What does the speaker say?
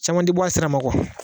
Caman ti bɔ a sira ma kuwa